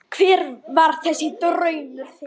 Hver var þessi draumur þinn?